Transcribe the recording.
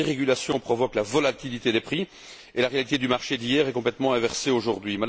La dérégulation provoque la volatilité, et la réalité du marché d'hier est complètement inversée aujourd'hui.